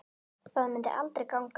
Það myndi aldrei ganga.